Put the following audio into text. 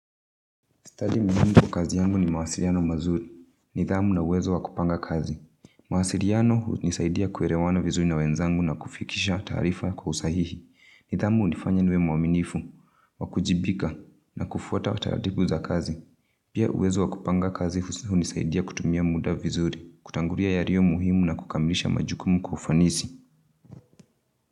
Stadi muhimu kazi yangu ni mawasiliano mazuri. Nidhamu na uwezo wa kupanga kazi. Mawasiliano hunisaidia kuelewana vizuri na wenzangu na kufikisha taarifa kwa usahihi. Nidhamu hunifanya niwe mwaminifu, kuwajibika, na kufuata taratibu za kazi. Pia uwezo wakupanga kazi hunisaidia kutumia muda vizuri, kutangulia yaliyomuhimu na kukamilisha majukumu kwa ufanisi.